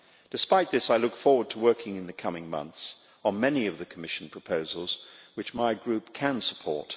Despite this, I look forward to working in the coming months on many of the Commission proposals which my Group can support.